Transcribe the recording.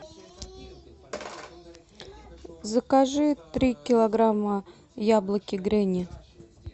закажи три килограмма яблоки гренни